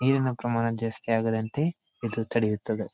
ನೀರಿನ ಪ್ರಮಾಣ ಜಾಸ್ತಿ ಆಗದಂತೆ ಇದು ತಡೆಯುತ್ತದೆ.